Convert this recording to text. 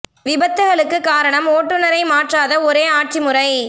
விபத்துகளுக்குக் காரணம் ஓட்டுனரை மாற் றாத ஒரே ஆட்சி முறை